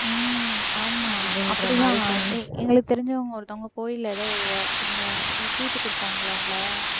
உம் ஆமா அப்பிடித்தான் அஹ் எங்களுக்கு தெரிஞ்சவங்க ஒருத்தவங்க கோயில்ல ஏதோ இந்த ஏதோ சீட்டு குடுப்பாங்களாம்ல